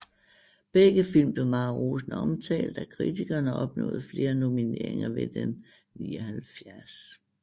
Begge film blev meget rosende omtalt af kritikerne og opnåede flere nomineringer ved den 79